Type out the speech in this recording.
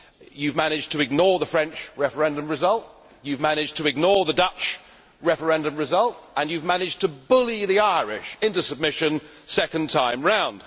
You have managed to ignore the French referendum result, you have managed to ignore the Dutch referendum result and you have managed to bully the Irish into submission the second time around.